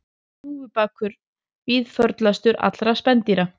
Hnúfubakur víðförlastur allra spendýra